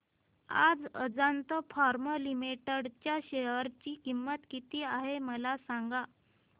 आज Ajanta pharma limited च्या share ची किंमत किती आहे मला सांगा